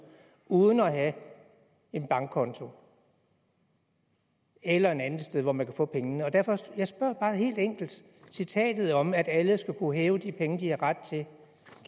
uden at have en bankkonto eller et andet sted hvor man kan få pengene jeg spørger bare helt enkelt citatet om at alle skal kunne hæve de penge de har ret til